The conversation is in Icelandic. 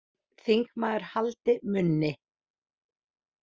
Þingmaður haldi munni